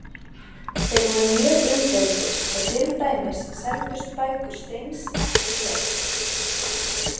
Þeir voru mjög umdeildir og til dæmis seldust bækur Steins ekki vel.